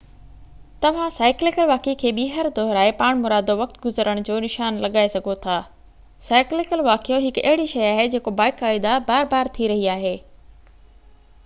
توهان سائيڪليڪل واقعي کي ٻيهر دهرائي پاڻمرادو وقت گذرڻ جو نشان لڳائي سگهو ٿا سائيڪليڪل واقعيو هڪ اهڙي شي آهي جيڪو باقائده بار بار ٿي رهي آهي